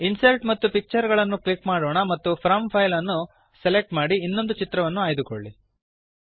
insert ಮತ್ತು picture ಗಳನ್ನು click ಮಾಡೋಣ ಮತ್ತು ಫ್ರಾಮ್ ಫೈಲ್ ಅನ್ನು ಸೆಲೆಕ್ಟ್ ಮಾಡಿ ಇನ್ನೊಂದು ಚಿತ್ರವನ್ನು ಆಯ್ದುಕೊಳ್ಳಿ